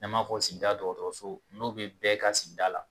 N'an b'a fɔ sigida dɔgɔtɔrɔso n'o bɛ bɛɛ ka sigida la